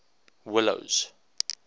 willows